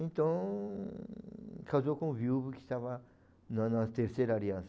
Então, casou com o viúvo que estava na na terceira aliança.